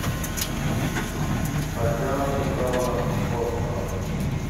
татьяна петровна тхостова